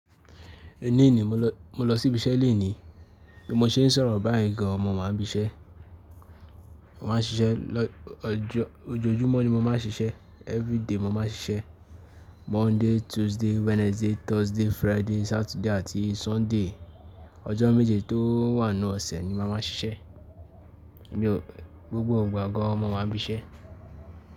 Èní ni mo lọ́, mo lọ sí ibi iṣẹ́ lenìí bí mo ṣe ń sọ̀rọ̀ báyìí gan an mo wáa ń bísẹ́. Mo máa ń ṣiṣẹ́ lọ́, ọjọ́, ojoojúmọ́ ni mo máa ń ṣiṣẹ́. Everyday mo máa ń ṣiṣẹ́. Monday, Tuesday, Wednesday, Thursday, Friday, Saturday àti Sunday. Ọjọ́ méje tó wà nínú ọ̀sẹ̀ ni mo máa ma ṣiṣẹ́. Mi ò-- gbogbo ìgbà gan an mo wáa ń bíṣẹ́.